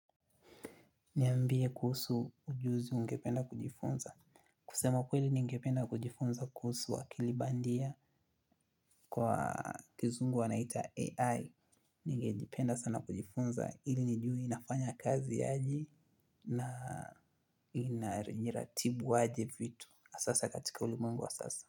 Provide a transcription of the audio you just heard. Niambie kuhusu ujuzi ungependa kujifunza. Kusema kweli nigependa kujifunza kuhusu akili bandia. Kwa kizungu wanaita AI. Ningejipenda sana kujifunza ili nijue inafanya kazi aje. Na inajiratibu aje vitu asa sa katika ulimwengu wa sasa.